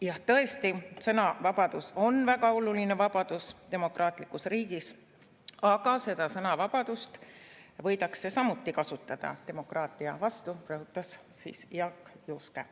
Jah, tõesti, sõnavabadus on väga oluline vabadus demokraatlikus riigis, aga seda sõnavabadust võidakse samuti kasutada demokraatia vastu, rõhutas Jaak Juske.